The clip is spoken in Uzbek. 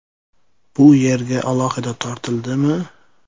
Bu yerga alohida tortildimi?